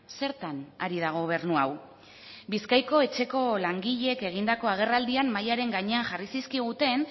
zertan ari da gobernu hau bizkaiko etxeko langileek egindako agerraldian mahaiaren gainean jarri zizkiguten